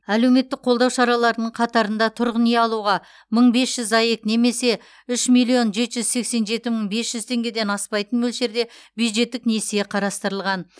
әлеуметтік қолдау шараларының қатарында тұрғын үй алуға мың бес жүз аек немесе үш миллион жеті жүз сексен жеті мың бес жүз теңгеден аспайтын мөлшерде бюджеттік несие қарастырылған